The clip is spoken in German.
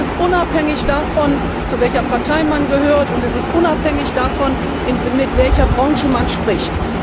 Und das ist unabhängig davon, zu welcher Partei man gehört, und es ist unabhängig davon, mit welcher Branche man spricht.